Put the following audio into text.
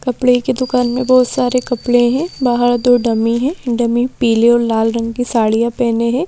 कपड़े की दुकान में बहुत सारे कपड़े हैं बाहर दो डमी है डमी पीली और लाल रंग की साड़ियां पहने हैं।